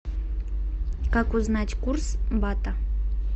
как узнать курс бата